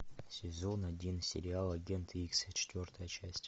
сезон один сериал агент икс четвертая часть